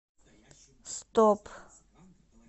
стоп